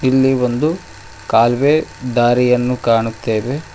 ಇಲ್ಲಿ ಒಂದು ಕಾಲ್ವೇ ದಾರಿಯನ್ನು ಕಾಣುತ್ತೇವೆ.